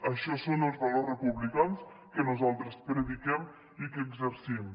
això són els valors republicans que nosaltres prediquem i que exercim